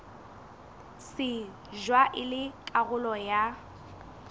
shejwa e le karolo ya